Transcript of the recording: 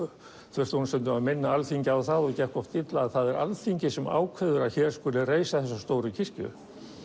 þurfti stundum að minna Alþingi á það og gekk illa að það er Alþingi sem ákveður að hér skuli reisa þessa stóru kirkju